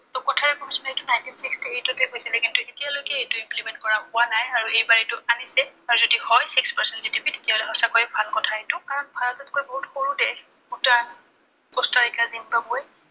ত Kothari commission এএইটো nineteen sixty eight তে কৈছিলে। কিন্তু এতিয়ালৈকে এইটো implement কৰা হোৱা নাই। আৰু এইবাৰ এইটো আনিছে। আৰু যদি হয় six percent GDP তেতিয়া হলে সঁচাকৈ ভাল কথা এইটো। কাৰণ ভাৰতত কৈ বহুত সৰু দেশ ভূটান, পুস্তাৰিকা, জিম্বাবৱে